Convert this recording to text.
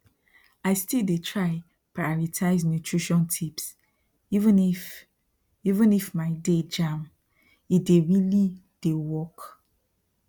i still dey try prioritize nutrition tips even if even if my day jammede really dey work